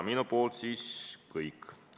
Minu poolt kõik.